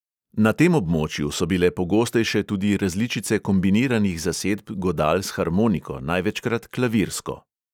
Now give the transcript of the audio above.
Na tem območju so bile pogostejše tudi različice kombiniranih zasedb godal s harmoniko, največkrat klavirsko.